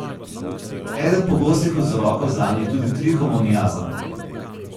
Eden pogostih vzrokov zanje je tudi trihomoniaza.